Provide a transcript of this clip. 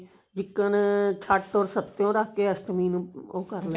ਜਿੱਕ੍ਨ ਛੱਟ ਓਰ ਸ੍ਤ੍ਤਿਓਂ ਰੱਖ ਕਿ ਅਸ਼ਟਮੀ ਨੂੰ ਉਹ ਕਰ